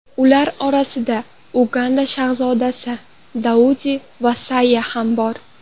Ular orasida Uganda shahzodasi Daudi Vasayya ham bor.